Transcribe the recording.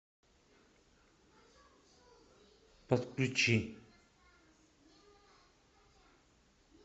подключи